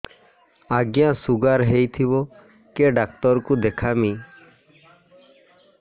ଆଜ୍ଞା ଶୁଗାର ହେଇଥିବ କେ ଡାକ୍ତର କୁ ଦେଖାମି